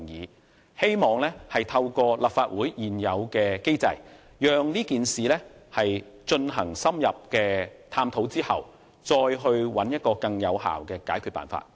我希望透過立法會現有的機制，對事件進行深入探討後，再找出更有效的解決辦法。